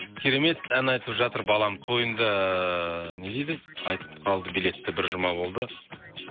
керемет ән айтып жатыр балам тойында не дейді айтып қалды билетті бір жұма болды